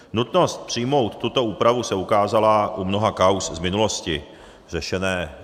Nutnost přijmout tuto úpravu se ukázala u mnoha kauz z minulosti řešených